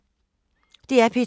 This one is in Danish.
DR P2